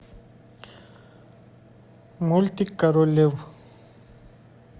мультик король лев